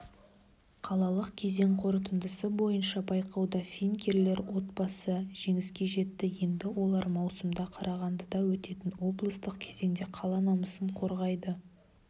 қалалық кезең қорытындысы бойынша байқауда финкелер отбасы жеңіске жетті енді олар маусымда қарағандыда өтетін облыстық кезеңде қала намысын қорғайды